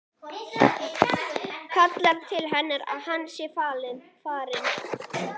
Kallar til hennar að hann sé farinn.